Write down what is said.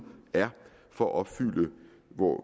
er for at opfylde